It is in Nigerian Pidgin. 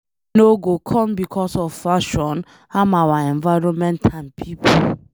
We no go come becos of fashion harm our environment and pipo